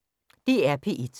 DR P1